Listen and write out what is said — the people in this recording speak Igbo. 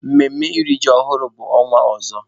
Mmemme iri ji ọhụrụ bụ ọnwa ọzọ.